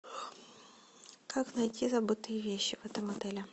как найти забытые вещи в этом отеле